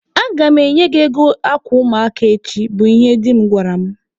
"Aga m enye gị ego akwa ụmụaka echi", bụ ihe di m gwara mụ.